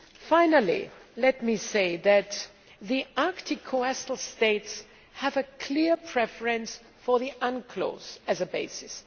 Finally, let me say that the Arctic coastal states have a clear preference for the UNCLOS as a basis.